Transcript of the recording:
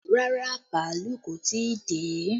Rárá, bàálù kò tí ì dé